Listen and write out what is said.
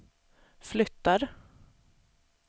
flyttar